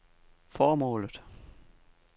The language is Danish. formålet